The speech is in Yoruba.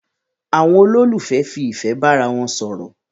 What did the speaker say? Àwon olólùfẹ́ fi ìfẹ́ bá ara won sòrò